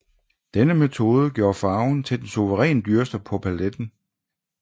Denne metode gjorde farven til den suverænt dyreste på paletten